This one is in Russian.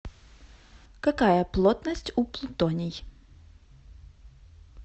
какая плотность у плутоний